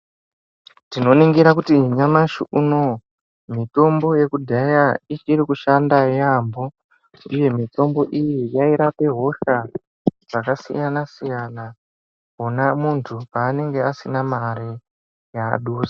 Tinoningira kuti nyamashi unowu mitombo yekudhaya ichiri kushanda yaambo uye mitombo iyi yairape hosha dzakasiyana-siyana wona muntu paanenge asina mare yaadusa.